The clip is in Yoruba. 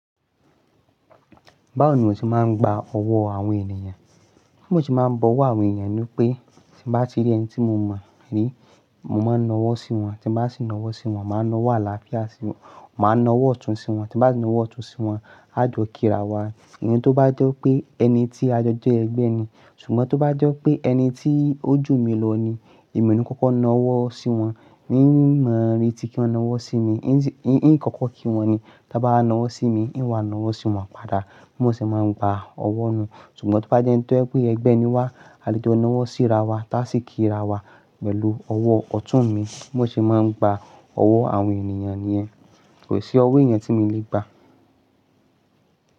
Báwo ni mo se máa ń gba ọwọ́ àwọn ènìyàn? Bii mo se máa ń bọwọ́ àwọn ènìyàn ni pé tí bá ti rí ẹni tí mo mọ rí mo máa ń nawọ́ sí wọn. Tí bá sì nawọ́ sí wọn, mà á nawọ́ àlàáfíà sí wọn, mà á nawọ́ ọ̀tún sí wọn. Tí bá si nawọ́ ọ̀tún sí wọn, a jó kírawà. Ẹni tó bá jẹ́ pé ẹni tí a jọ jẹ́ ẹgbẹ́ ni. Ṣùgbọ́n tó bá jẹ́ pé ẹni tí ojú mi lọ ní, èmi ni kọ́kọ́ nawọ́ sí wọn. N ma-retí kí wọ́n nawọ́ sí mi, n kọ́kọ́ kí wọn ni. To bá nawọ́ sí mi, n wà nawọ́ sí wọn padà. Bimo ṣe máa ń gba ọwọ́ nù. Ṣùgbọ́n tó bá jẹ́ ẹni tó jẹ pe gbẹ́ ni wá, a lè jọ nawọ́ sírawà, tá sì kírawà pẹ̀lú ọwọ́ ọ̀tún mi. Báwo ṣe máa ń gba ọwọ́ àwọn ènìyàn nìyẹn. Kò sí owó eyan tí mi lè gbà.